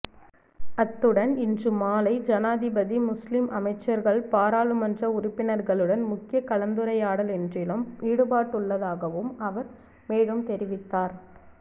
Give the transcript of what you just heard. அத்துடன் இன்று மாலை ஜனாதிபதி முஸ்லிம் அமைச்சர்கள் பாராளுமன்ற உறுப்பினர்களுடன் முக்கிய கலந்துரையாடலொன்றிலும் ஈடுபடவுள்ளதாகவும் அவர் மேலும் தெரிவித்தார்